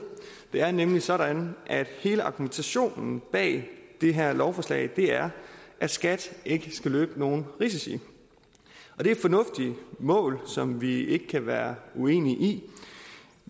det er nemlig sådan at hele argumentationen bag det her lovforslag er at skat ikke skal løbe nogen risici og det er et fornuftigt mål som vi ikke kan være uenige i